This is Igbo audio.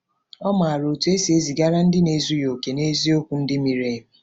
Ọ maara otú e si ezigara ndị na-ezughị okè eziokwu ndị miri emi.